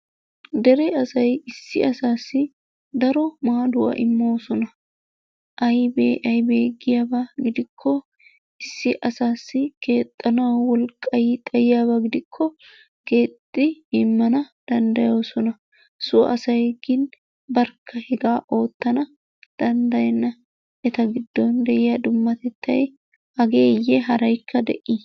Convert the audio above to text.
beni asay issi asassi daro maadduwa imoosona aybbe aybbe giyaaba gidikko issi asassi keexxanaw wolqqay xayyiyaabaa gidikko keexxidi immana danddayoosona. so asay gin barkka hegaa oottana danddayena. eta giddon de'iyaa dummatettay hageyye haraykka de'i?